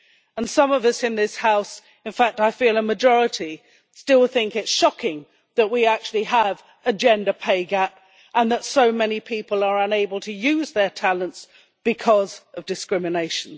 And some of us in this House, in fact I feel a majority, still think it is shocking that we actually have a gender pay gap and that so many people are unable to use their talents because of discrimination.